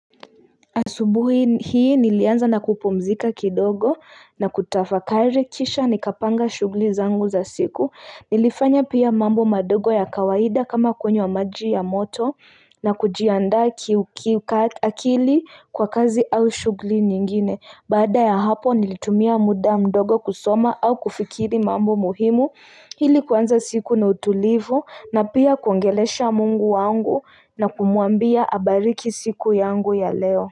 Asubuhi hii nilianza na kupumzika kidogo na kutafakari kisha nikapanga shuguli zangu za siku Nilifanya pia mambo madogo ya kawaida kama kunywa maji ya moto na kujianda ki akili kwa kazi au shughuli nyingine Baada ya hapo nilitumia muda mdogo kusoma au kufikiria mambo muhimu ilili kuanza siku na utulivu na pia kuongelesha Mungu wangu na kumwambia abariki siku yangu ya leo.